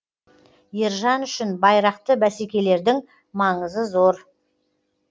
ержан үшін байрақты бәсекелердің маңызы зор